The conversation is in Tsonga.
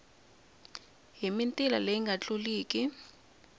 hi mitila leyi nga tluliki